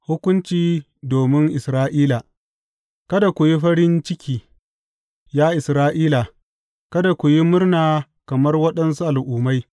Hukunci domin Isra’ila Kada ku yi farin ciki, ya Isra’ila; kada ku yi murna kamar waɗansu al’ummai.